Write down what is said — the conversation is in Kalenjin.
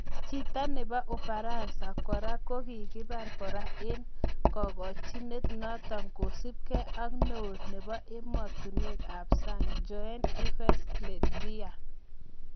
Chito nepo ufaranza kora kokihipar kora eng' kogokchinet notok, kosupkee ak neo nepoemotinweek ap saang Jean -Yves Le Drian.